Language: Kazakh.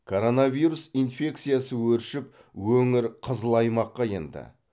коронавирус инфекциясы өршіп өңір қызыл аймаққа енді